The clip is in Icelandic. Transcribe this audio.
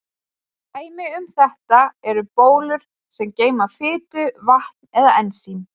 Dæmi um þetta eru bólur sem geyma fitu, vatn eða ensím.